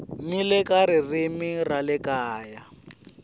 eka ririmi ra le kaya